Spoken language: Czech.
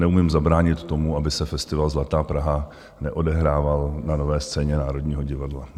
Neumím zabránit tomu, aby se festival Zlatá Praha neodehrával na Nové scéně Národního divadla.